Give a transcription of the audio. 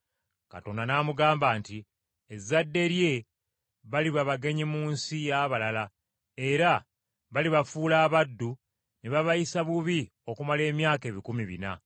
Katonda n’amugamba nti ezzadde lye, baliba bagenyi mu nsi y’abalala, era balibafuula abaddu, ne babayisa bubi okumala emyaka ebikumi bina.